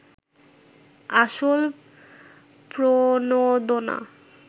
আসল প্রণোদনা